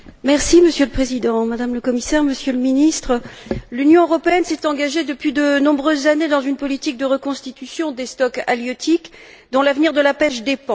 Monsieur le Président, Madame le Commissaire, Monsieur le Ministre, l'Union européenne s'est engagée depuis de nombreuses années dans une politique de reconstitution des stocks halieutiques, dont l'avenir de la pêche dépend.